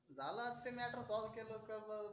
झाल आता ते matter solve केल कस